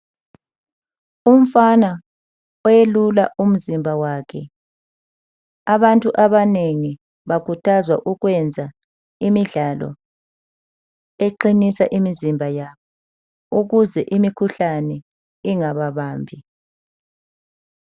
Umfana oyelula umzimba wakhe. Abantu abanengi bakhuthazwa ukwenza imidlalo eqinisa imizimba yabo ukuze imikhuhlane ingababambi.